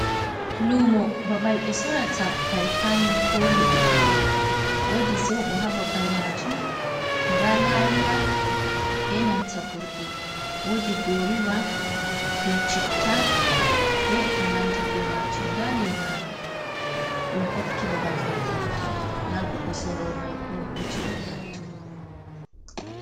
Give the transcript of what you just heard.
Lumo babal ɓe sorata kare kayan koli, wodi soɓo ha babal majum, nda lariya be nanta burɗi, wodi goruba be citta be e konandi be majum, nda lemaru ɗum hokki babal mai ɗaudi, nda goddo sorowo mai bo ɗo joɗi hatto.